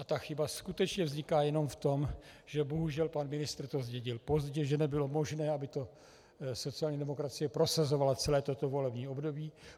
A ta chyba skutečně vzniká jenom v tom, že bohužel pan ministr to zdědil pozdě, že nebylo možné, aby to sociální demokracie prosazovala celé toto volební období.